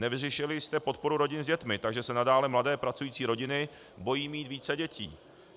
Nevyřešili jste podporu rodin s dětmi, takže se nadále mladé pracující rodiny bojí mít více dětí.